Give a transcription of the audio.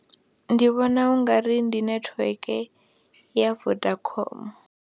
Ndi vhona u nga ri ndi netiweke ya Telkom.